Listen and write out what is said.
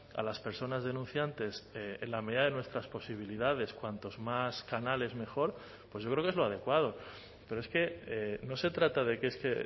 a las personas denunciantes en la medida de nuestras posibilidades cuantos más canales mejor pues yo creo que es lo adecuado pero es que no se trata de que este